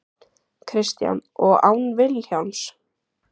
Kristján: Og án Vilhjálms?